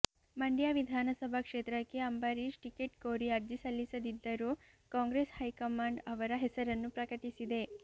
ಮಂಡ್ಯ ವಿಧಾನಸಭಾ ಕ್ಷೇತ್ರಕ್ಕೆ ಅಂಬರೀಷ್ ಟಿಕೆಟ್ ಕೋರಿ ಅರ್ಜಿ ಸಲ್ಲಿಸದಿದ್ದರೂ ಕಾಂಗ್ರೆಸ್ ಹೈಕಮಾಂಡ್ ಅವರ ಹೆಸರನ್ನು ಪ್ರಕಟಿಸಿದೆ